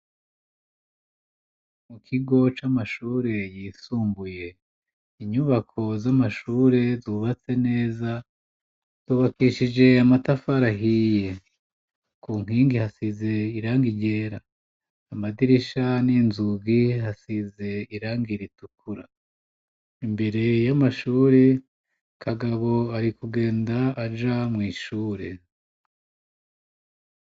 Mu kigo c'amashure yisumbuye ,inyubako z'amashure zubatse neza tubakishije amatafari ahiye ku nkingi hasize iranga ryera ,amadirisha n'inzugi hasize iranga iritukura imbere y'amashuri kagabo ari kugenda aja mu ishure.